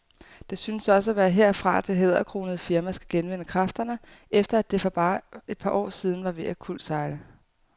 Det synes også at være herfra, det hæderkronede firma skal genvinde kræfterne, efter at det for bare et par år siden var ved at kuldsejle.